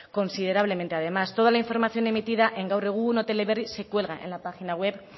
considerablemente además toda la información emitida en gaur egun o teleberri se cuelga en la página web